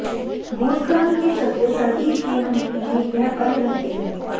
भूस्खलन के चलते सर्दी के महीने में यह बंद रहती है